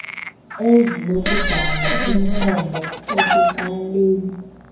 ezinokudala umthombo osecaleni